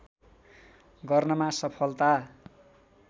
गर्नमा सफलता